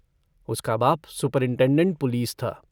उसका बाप superintendent police था।